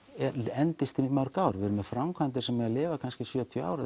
endist í mörg ár við erum með framkvæmdir sem lifa kannski í sjötíu ár